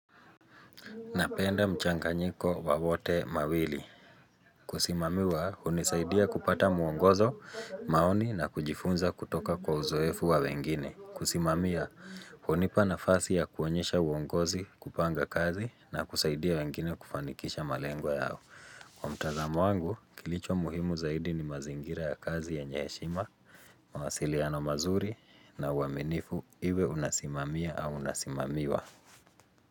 Napenda mchanganyiko wa wote mawili Kusimamiwa unizaidia kupata muongozo, maoni na kujifunza kutoka kwa uzoefu wa wengine kusimamia, unipa nafasi ya kuonyesha uongozi kupanga kazi na kuzaidia wengine kufanikisha malengo yao. Kwa mtazamo wangu, kilicho muhimu zaidi ni mazingira ya kazi ya enye heshima, mawasiliano mazuri na uaminifu iwe unasimamia au unasimamiwa.